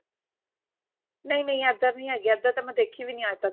ਨਹੀਂ ਨਹੀਂ ਇਧਰ ਨਹੀਂ ਹੈਗੀ ਇੱਧਰ ਤਾਂ ਮੈਂ ਦੇਖੀ ਵੀ ਨੀ ਅੱਜ ਤੱਕ